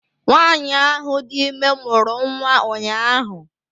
Nwanyị ahụ dị ime mụrụ nwa ụnyahụ